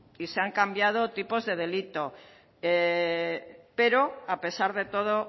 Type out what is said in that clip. y se han cambiado tipos de delito pero a pesar de todo